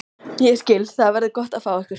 Ég skil- Það verður gott að fá ykkur.